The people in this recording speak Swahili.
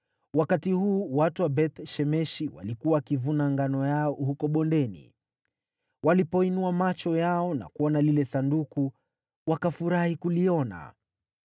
Wakati huu watu wa Beth-Shemeshi walikuwa wakivuna ngano yao huko bondeni, walipoinua macho yao na kuona lile Sanduku, wakafurahi kuliona.